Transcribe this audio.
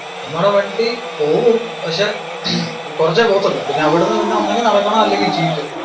നമ്മടെ വണ്ടി പോവും പക്ഷെ കുറച്ചേ പോകത്തുള്ളൂ പിന്നെ അവിടുന്ന് പിന്നെ ഒന്നുങ്കിൽ നടക്കണം അല്ലെങ്കിൽ jeep.